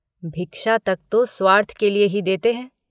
भिक्षा तक तो स्वार्थ के लिए ही देते हैं।